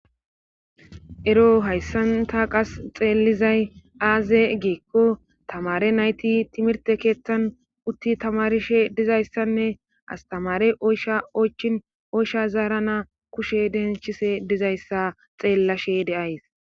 ero hayssanta qas xeellizay aaze geekko tamare nayti timirte keeththan utti tamarishe dizayssanne astamare oysha oychin oysha zaarana kushe denchise dizayssa xeellashe deays